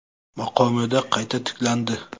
maqomida qayta tiklandi.